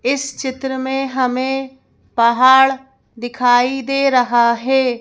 इस चित्र में हमें पहाड़ दिखाई दे रहा है।